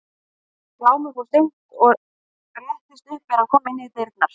Glámur fór seint og réttist upp er hann kom inn í dyrnar.